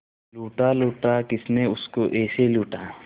लूटा लूटा किसने उसको ऐसे लूटा